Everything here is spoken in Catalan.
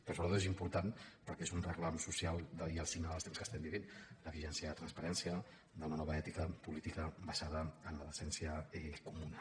però sobretot és important perquè és un reclam social i el signe dels temps que estem vivint d’eficiència transparència d’una nova ètica política basada en la decència comuna